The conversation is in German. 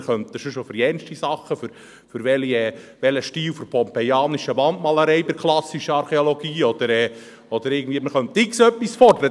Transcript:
Wir könnten sonst auch für jegliche Sachen, für einen bestimmten Stil der pompejanischen Wandmalerei in der klassischen Archäologie oder für sonst was X-Beliebiges fordern.